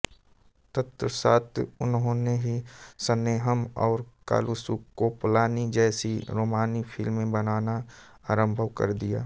तत्पश्चात् उन्होंने नी स्नेहम और कालुसुकोवलानी जैसी रोमानी फ़िल्में बनाना आरम्भ कर दिया